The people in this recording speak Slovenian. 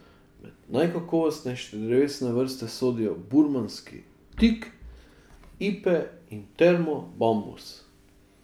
Med najkakovostnejše drevesne vrste sodijo burmanski tik, ipe in termo bambus.